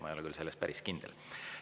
Ma ei ole küll selles päris kindel.